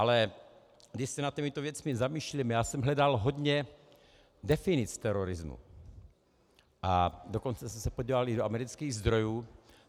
Ale když se nad těmito věcmi zamýšlíme - já jsem hledal hodně definic terorismu, a dokonce jsem se podíval i do amerických zdrojů.